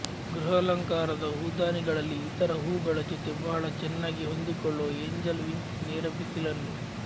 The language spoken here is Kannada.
ಗೃಹಾಲಂಕಾರದ ಹೂದಾನಿಗಳಲ್ಲಿ ಇತರ ಹೂವುಗಳ ಜೊತೆ ಬಹಳ ಚೆನ್ನಾಗಿ ಹೊಂದಿಕೊಳ್ಳುವ ಏಂಜಲ್ ವಿಂಗ್ಸ್ ನೇರ ಬಿಸಿಲನ್ನು